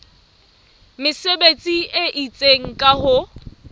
mesebetsi e itseng ka ho